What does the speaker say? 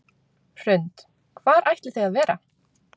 Hrund: Hvar ætlið þið að vera?